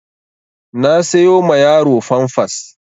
Na sayo ma yaro famfas